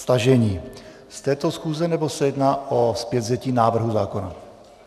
Stažení z této schůze, nebo se jedná o zpětvzetí návrhu zákona?